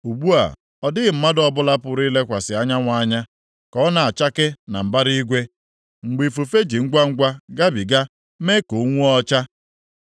Ugbu a, ọ dịghị mmadụ ọbụla pụrụ ilekwasị anyanwụ anya ka ọ na-achake na mbara igwe, mgbe ifufe ji ngwangwa gabiga mee ka o nwuo ọcha.